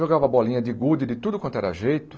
Jogava bolinha de gude, de tudo quanto era jeito.